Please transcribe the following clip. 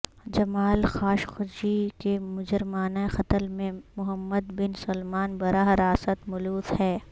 جمال Khashoggi کے مجرمانہ قتل میں محمد بن سلمان براہ راست ملوث ہے